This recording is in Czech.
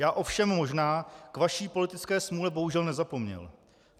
Já ovšem možná k vaší politické smůle bohužel nezapomněl.